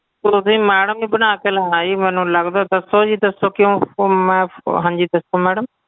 ਤੁਸੀਂ madam ਜੀ ਬਣਾ ਕੇ ਲਾਇਆ ਜੀ ਮੈਨੂੰ ਲੱਗਦਾ ਦੱਸੋ ਜੀ ਦੱਸੋ ਕਿਉਂ ਫ਼ੌ~ ਮੈਂ ਉਹ ਹਾਂਜੀ ਦੱਸੋ madam